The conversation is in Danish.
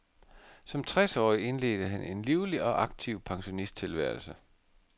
Som tres årig indledte han en livlig og aktiv pensionisttilværelse.